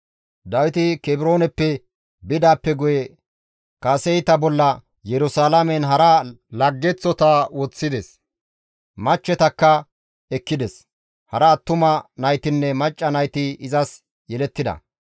Dawiti Kebrooneppe bidaappe guye kaseyta bolla Yerusalaamen hara laggeththota woththides; machchetakka ekkides; hara attuma naytinne macca nayti izas yelettida.